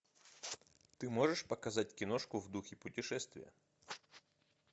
ты можешь показать киношку в духе путешествия